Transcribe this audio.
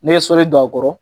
Ne ye sɔli don a kɔrɔ